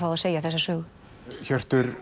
segja þessa sögu